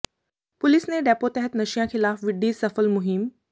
police ਨੇ DAPO ਤਹਿਤ ਨਸ਼ਿਆਂ ਖ਼ਿਲਾਫ਼ ਵਿੱਢੀ ਸਫਲ ਮੁਹਿੰਮ